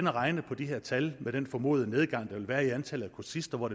regne på de her tal med den formodede nedgang der vil være i antallet af kursister og